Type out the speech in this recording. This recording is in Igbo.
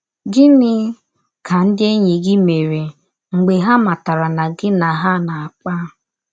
Gịnị ka ndị enyi gị mere mgbe ha matara na gị na Ha na - akpa?